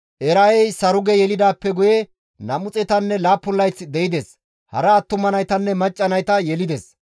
Era7ey Saruge yelidaappe guye 207 layth de7ides; hara attuma naytanne macca nayta yelides.